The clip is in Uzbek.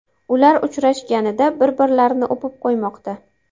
Ular uchrashganida bir-birini o‘pib qo‘ymoqda .